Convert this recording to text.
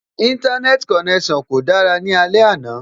Íńtánẹ́ẹ̀tì konẹ́sàn kò dára ní alẹ́ àná